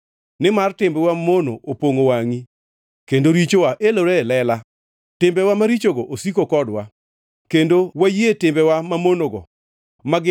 Nimar timbewa mamono opongʼo wangʼi kendo richowa elore e lela. Timbewa marichogo osiko kodwa kendo wayie timbewa mamonogo, ma gin: